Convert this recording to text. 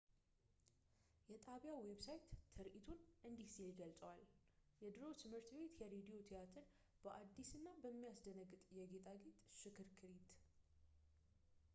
የጣቢያው ዌብሳይት ትርዒቱን እንዲህ ሲል ይገልጸዋል የድሮ ትምህርት ቤት የሬዲዮ ቲያትር በአዲስ እና በሚያስደነግጥ የጌጣጌጥ ሽክርክሪት